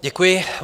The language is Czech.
Děkuji.